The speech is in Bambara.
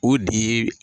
O de